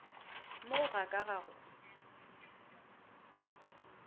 mo ga ka ga go